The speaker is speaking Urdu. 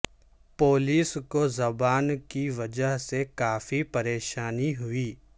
پولیس کو زبان کی وجہ سے کافی پریشانی ہوئی